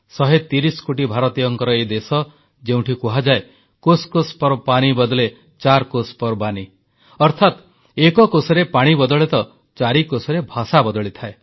130 କୋଟି ଭାରତୀୟଙ୍କର ଏ ଦେଶ ଯେଉଁଠି କୁହାଯାଏ କୋଷ କୋଷ୍ ପର ପାନି ବଦ୍ଲେ ଚାର୍ କୋଷପର ବାନୀ ଅର୍ଥାତ୍ ଏକ କୋଶରେ ପାଣି ବଦଳେ ତ ଚାରି କୋଶରେ ଭାଷା ବଦଳିଥାଏ